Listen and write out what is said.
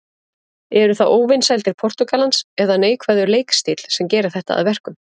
Eru það óvinsældir Portúgalans eða neikvæður leikstíll sem gerir þetta að verkum?